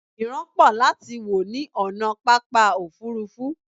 ìran pọ láti wò ní ònà pápá òfurufú